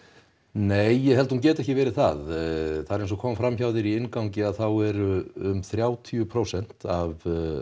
nei ég held að hún geti ekki verið það það er eins og kom fram hjá þér í inngangnum að þá eru þrjátíu prósent af